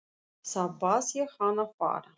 Þá bað ég hann að fara.